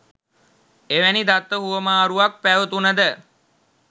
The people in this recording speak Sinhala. එවැනි දත්ත හුවමාරුවක් පැවතුනද